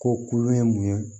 Ko kuru ye mun ye